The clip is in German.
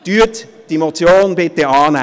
Nehmen Sie diese Motion bitte an.